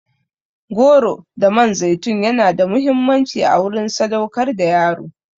Goro da man zaitun yana da muhimmanci a wurin sadaukar da yaro.